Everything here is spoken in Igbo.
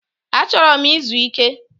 Achoro m izu Ike